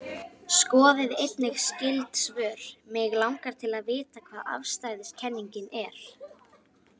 Skoðið einnig skyld svör: Mig langar til að vita hvað afstæðiskenningin er.